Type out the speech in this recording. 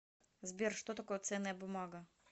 сбер что такое ценная бумага